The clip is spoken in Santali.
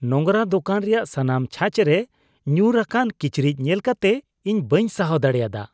ᱱᱚᱝᱨᱟ ᱫᱚᱠᱟᱱ ᱨᱮᱭᱟᱜ ᱥᱟᱱᱟᱢ ᱪᱷᱟᱪᱨᱮ ᱧᱩᱨ ᱟᱠᱟᱱ ᱠᱤᱪᱨᱤᱡ ᱧᱮᱞ ᱠᱟᱛᱮ ᱤᱧ ᱵᱟᱹᱧ ᱥᱟᱦᱟᱣ ᱫᱟᱲᱮᱭᱟᱫᱟ